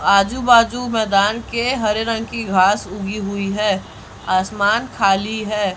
आजू बाजू मैदान के हरे रंग की घास उगी हुई है आसमान खाली है।